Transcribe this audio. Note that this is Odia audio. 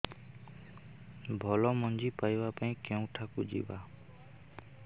ଭଲ ମଞ୍ଜି ପାଇବା ପାଇଁ କେଉଁଠାକୁ ଯିବା